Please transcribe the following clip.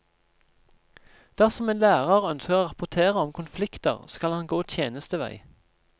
Dersom en lærer ønsker å rapportere om konflikter, skal han gå tjenestevei.